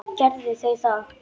Gerðu þau það.